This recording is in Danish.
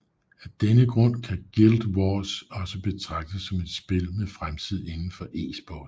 Af denne grund kan Guild Wars også betragtes som et spil med fremtid inden for eSport